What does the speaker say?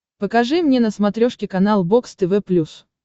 покажи мне на смотрешке канал бокс тв плюс